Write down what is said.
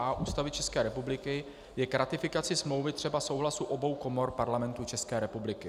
a) Ústavy České republiky je k ratifikaci smlouvy třeba souhlasu obou komor Parlamentu České republiky.